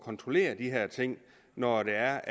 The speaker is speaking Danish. kontrollere de her ting når der er